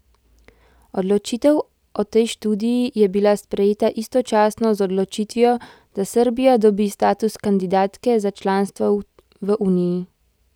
Odločitev o tej študiji je bila sprejeta istočasno z odločitvijo, da Srbija dobi status kandidatke za članstvo v uniji.